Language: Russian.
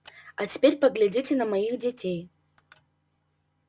а теперь поглядите на моих детей